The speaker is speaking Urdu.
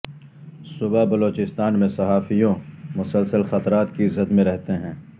صوبہ بلوچستان میں صحافیوں مسلسل خطرات کی زد میں رہتے ہیں